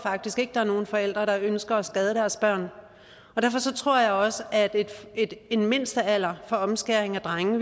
der er nogen forældre der ønsker at skade deres børn og derfor tror jeg også at en mindstealder for omskæring af drenge